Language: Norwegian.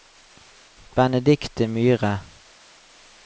Benedikte Myhre